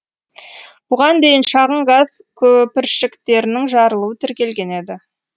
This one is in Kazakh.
бұған дейін шағын газ көпіршіктерінің жарылуы тіркелген еді